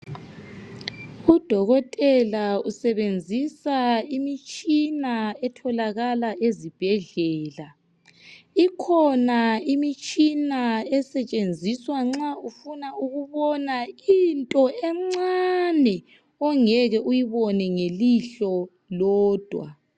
Udokotela usebenzisa imitshina etholakala ezibhedlela inkona imitshina esetshenziswa nxa ufuna ukubona into encane ongeke uyibone ngelihlo lodwa